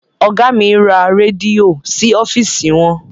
Ọgá mi ra rẹ́díò sí ọ́fìsì wọn.